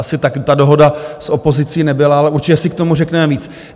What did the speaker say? Asi tak ta dohoda s opozicí nebyla, ale určitě si k tomu řekneme víc.